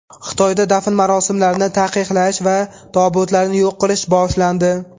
Xitoyda dafn marosimlarini taqiqlash va tobutlarni yo‘q qilish boshlandi.